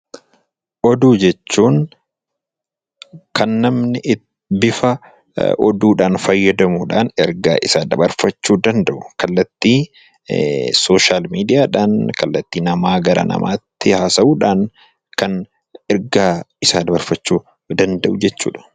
Oduu jechuun kan namni bifa oduudhaan fayyadamuudhaan, ergaa isaa dabarfachuu danda'u, kallattii sooshaal miidiyaadhaan, kallattii namaa gara namaatti haasa'uudhaan kan ergaa isaa dabarfachuu danda'u jechuudha.